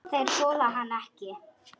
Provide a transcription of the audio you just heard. Þeir þola hann ekki.